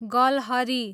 गलहरी